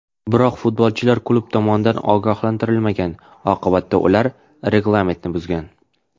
Biroq futbolchilar klub tomonidan ogohlantirilmagan, oqibatda ular reglamentni buzgan.